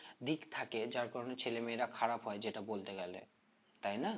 দিক থাকে যার কারণে ছেলেমেয়েরা খারাপ হয় যেটা বলতে গেলে তাই না?